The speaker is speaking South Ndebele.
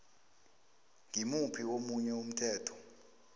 ngimuphi omunye umthetho